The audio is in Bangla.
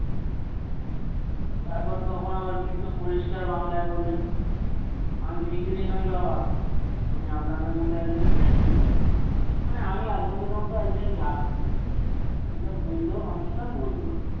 তারপর তখন আবার বৃদ্ধ পরিষ্কার বাংলায় বললেন আমি ভিখারি নই বাবা আমি আপনাদের মত একজন passenger মানে আমি আপনাদের মতো একজন যাত্রী এটা বৃদ্ধ মানুষটা বলল।